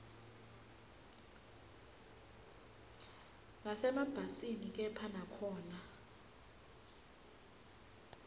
nasemabhasini kepha nakhona